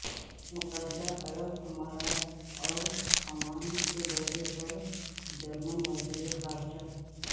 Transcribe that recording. متحدہ عرب امارات اور عمان کے دورے پر جرمن وزیر خارجہ